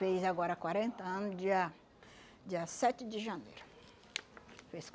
Fez agora quarenta ano, dia dia sete de janeiro. Fez